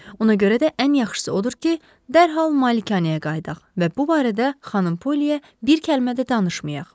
Ona görə də ən yaxşısı odur ki, dərhal malikanəyə qayıdaq və bu barədə xanım Poliyə bir kəlmə də danışmayaq.